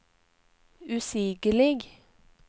usigelig